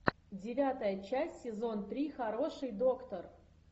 девятая часть сезон три хороший доктор